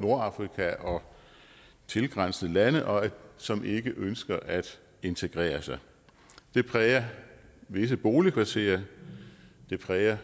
nordafrika og tilgrænsende lande og som ikke ønsker at integrere sig det præger visse boligkvarterer det præger